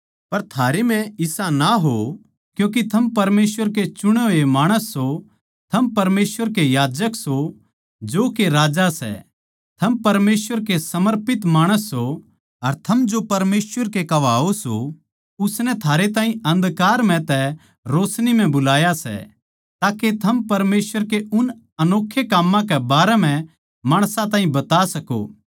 पर थारे म्ह इसा ना हो क्यूँके थम परमेसवर के चुणे होए माणस सो थम परमेसवर के याजक सों जो के राजा सै थम परमेसवर के समर्पित माणस सों अर थम जो परमेसवर के कहवावै सों उसनै थारे ताहीं अन्धकार म्ह तै रोशनी म्ह बुलाया सै ताके थम परमेसवर के उन अनोक्खे काम्मां के बारें म्ह माणसां ताहीं बता सको